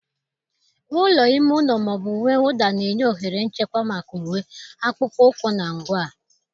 Ụlọ ime ụlọ ma ọ bụ uwe mwụda na-enye ohere nchekwa maka uwe, akpụkpọ ụkwụ, na ngwa.